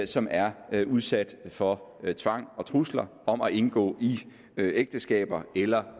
som er udsat for tvang og trusler om at indgå i ægteskaber eller